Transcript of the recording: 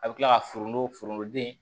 A bɛ tila ka forontofoni di